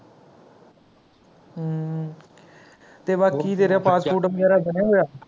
ਤੇ ਬਾਕੀ ਤੇਰਾ Passport ਵਗੈਰਾ ਬਣਿਆ ਹੋਇਆ